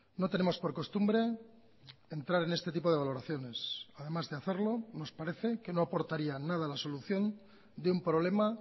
no tenemos por costumbre entrar en este tipo de valoraciones además de hacerlo nos parece que no aportaría nada a la solución de un problema